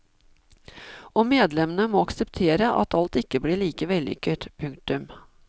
Og medlemmene må akseptere at alt ikke blir like vellykket. punktum